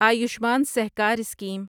Ayushman Sahakar scheme